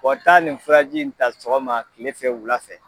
Wa taa nin furaji in ta sɔgɔma tile fɛ wula fɛ.